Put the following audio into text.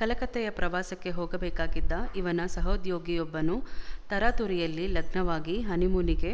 ಕಲಕತ್ತೆಯ ಪ್ರವಾಸಕ್ಕೆ ಹೋಗಬೇಕಾಗಿದ್ದ ಇವನ ಸಹೋದ್ಯೋಗಿಯೊಬ್ಬನು ತರಾತುರಿಯಲ್ಲಿ ಲಗ್ನವಾಗಿ ಹನಿಮೂನಿಗೆ